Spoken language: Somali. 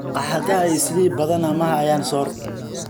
maqaxadhaha islii inta badhan ma hayan soor